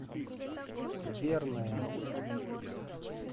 верная